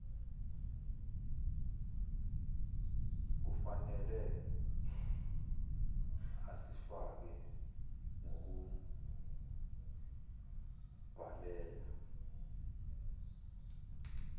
kufnele asifake ngokubhalela